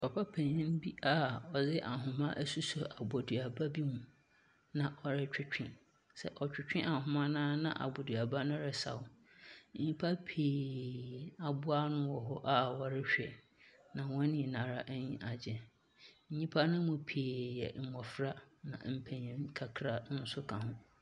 Papa panyin bi a ɔde ahoma asosɔ aboduaba mu na ɔretwetwe. Sɛ ɔtwetwe ahoma no a, na aboduaba no resaw. Nyimpa pii aboa ano wɔ hɔ a wɔrehwɛ, na hɔn nyinara enyi agye. Nyimpa no mu pii yɛ mbofra na mpenyin kakra nso ka ho.